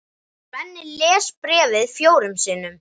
Svenni les bréfið fjórum sinnum.